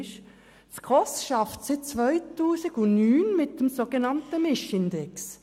Die SKOS arbeitet seit dem Jahr 2009 mit dem sogenannten Mischindex.